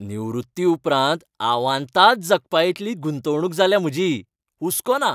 निवृत्ती उपरांत आवांताद जगपाइतली गुंतवणूक जाल्या म्हजी, हुस्को ना.